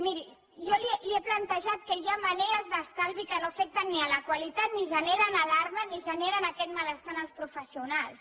miri jo li he plantejat que hi ha maneres d’estalvi que no afecten ni la qualitat ni generen alarma ni generen aquest malestar en els professionals